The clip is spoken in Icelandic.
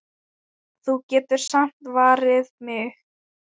Þú getur samt varið mig.